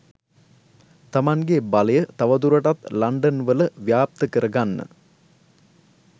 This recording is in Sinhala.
තමන්ගේ බලය තව දුරටත් ලන්ඩන් වල ව්‍යාප්ත කරගන්න